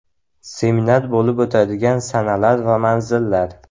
Seminar bo‘lib o‘tadigan sanalar va manzillar.